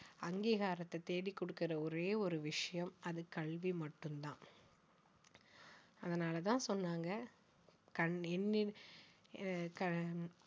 அங்கீகாரத்தை தேடி கொடுக்கற ஒரே ஒரு விஷயம் அது கல்வி மட்டும் தான் அதனால தான் சொன்னாங்க கண்~ என்னி~ அஹ் க~